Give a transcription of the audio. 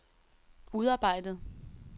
udarbejdet